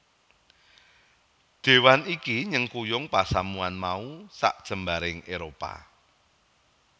Déwan iki nyengkuyung pasamuwan mau sajembaring Éropah